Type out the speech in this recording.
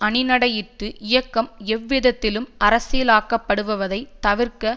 அணிநடையிட்டு இயக்கம் எவ்விதத்திலும் அரசியலாக்கப்படுவதை தவிர்க்க